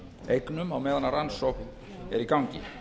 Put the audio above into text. eignum á meðan rannsókn er í gangi